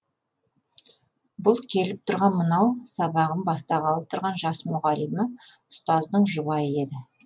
бұл келіп тұрған мынау сабағын бастағалы тұрған жас мұғалима ұстаздың жұбайы еді